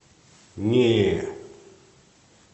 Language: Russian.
нее